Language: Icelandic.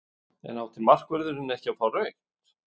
En átti markvörðurinn ekki að fá rautt?